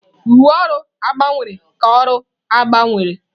Uwe ọrụ gbanwere ka ọrụ gbanwere.